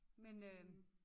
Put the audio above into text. Men øh